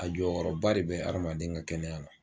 A jɔyɔrɔba de be adamaden ka kɛnɛya la